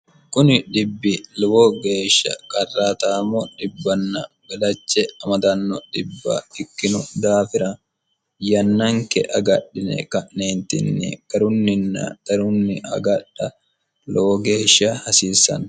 kuni dhibbi lowo geeshsha qarrataamo dhibbann gadache amadanno dibba ikkinu daafira yannanke agadhine ka'neentinni garunninna garunni agadha lowo geeshsha hasiissanno